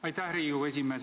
Aitäh, Riigikogu esimees!